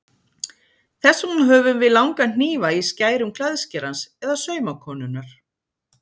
Þess vegna höfum við langa hnífa í skærum klæðskerans eða saumakonunnar.